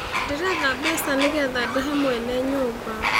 Ndĩretha mbeca nĩgetha ndĩhe mwene nyũmba